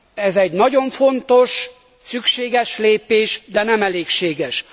Ez egy nagyon fontos, szükséges lépés, de nem elégséges.